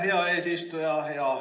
Aitäh, hea eesistuja!